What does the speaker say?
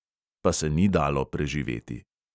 Pa se ni dalo preživeti.